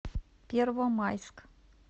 первомайск